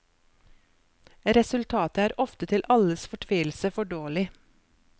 Resultatet er ofte til alles fortvilelse for dårlig.